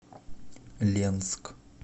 ленск